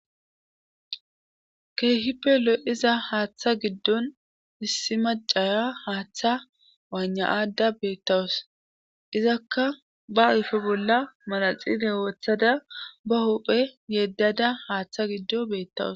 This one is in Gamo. keehipelo iza haaththa giddon issi macaya haaththa waanna aadda beettawus izakka ba ufe bolla manaxite wooththada ba hophe yeddada haaththa giddo beettawus